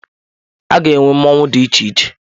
Aga enwe mmọnwụ dị iche iche.